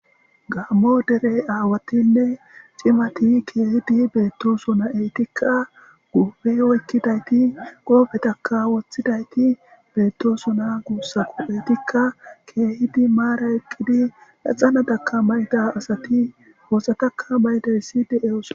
Gaammo derey aawatinne cimati keehidi beetto sona eetikka guube oykkidayti qoofetakka woththidayti beettosona guussa ko eytikka keehidi maara eqqidi laxana daka mayda asati hoosataka baydaysside eos.